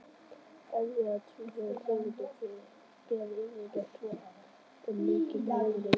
Erfðaefni tvílitna tegunda ber yfirleitt vott um mikinn breytileika.